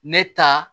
Ne ta